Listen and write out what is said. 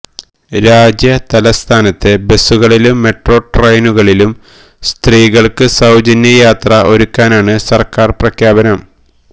രാജ്യ തലസ്ഥാനത്തെ ബസുകളിലും മെട്രോ ട്രെയിനുകളിലും സ്ത്രീകൾക്ക് സൌജന്യ യാത്ര ഒരുക്കാനാണ് സർക്കാർ പ്രഖ്യാപനം